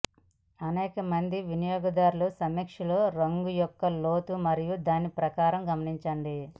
అనేక మంది వినియోగదారుల సమీక్షలు రంగు యొక్క లోతు మరియు దాని ప్రకాశం గమనించండి